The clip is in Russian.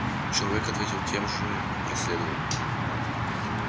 человек ответил тем же и проследовал